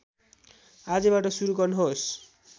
आजैबाट सुरु गर्नुहोस्